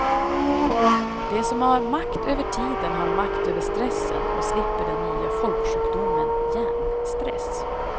De som har makt över tiden har makt över stressen och slipper den nya folksjukdomen hjärnstress.